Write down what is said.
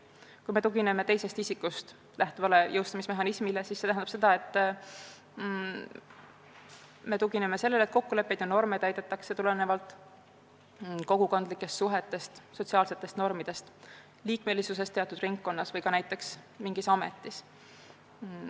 Kui me tugineme teisest isikust lähtuvale jõustamismehhanismile, siis see tähendab seda, et me tugineme sellele, et kokkuleppeid ja norme täidetakse tulenevalt kogukondlikest suhetest, sotsiaalsetest normidest, mingist ametist või näiteks kuulumisest teatud ringkonda.